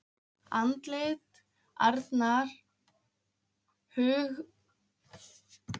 Andlit Arnar Höskuldssonar sveif mér fyrir hug